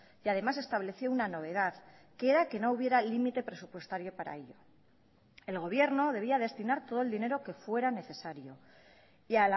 y además estableció una novedad que era que no hubiera límite presupuestario para ello el gobierno debía destinar todo el dinero que fuera necesario y